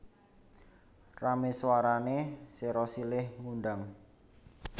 Ramé swarané sero silih ngundang